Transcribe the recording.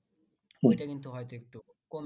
কিন্তু হয়তো একটু কমে